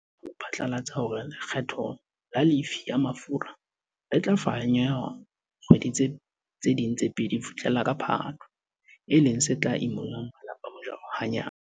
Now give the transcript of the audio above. Re sa tswa phatlalatsa hore lekgetho la lefii ya mafura le tla fanyehwa dikgwedi tse ding tse pedi ho fihlela ka Phato, e leng se tla imollang malapa mojaro hanyane.